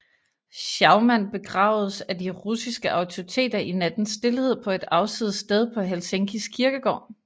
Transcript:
Schauman begravedes af de russiske autoriteter i nattens stilhed på et afsides sted på Helsingkis kirkegård